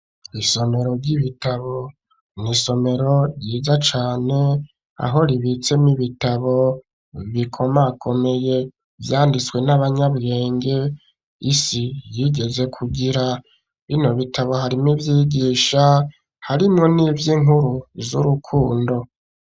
Isomero ry'ibitabo ni isomero ryiza cane, aho ribitsemwo ibitabo bikomakomeye, vyanditswe n'abanyabirenge isi yigeze kugira. Bino bitabo harimwo ivyigisha, harimwo nivy'inkuru z'urukundo.